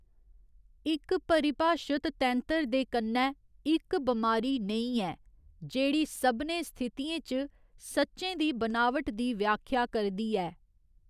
इक परिभाशत तैंतर दे कन्नै इक बमारी नेईं ऐ जेह्‌‌ड़ी सभनें स्थितियें च सच्चें दी बनावट दी व्याख्या करदी ऐ।